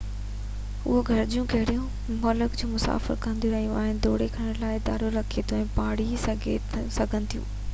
اهي گهرجون ڪهڙي ملڪ جو مسافر دورو ڪيو آهي يا دوري ڪرڻ جو ارادو رکي ٿو تي ڀاڙي سگهن ٿيون